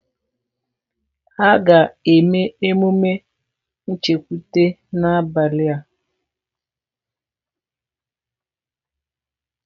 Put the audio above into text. Ha ga-eme emume nchekwute n'abalị a